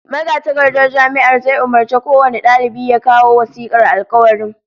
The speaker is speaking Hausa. Magatakardar Jami'ar zai umurci kowane dalibi ya kawo wasikar alkawarin